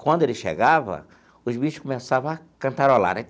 Quando ele chegava, os bichos começavam a cantarolar né.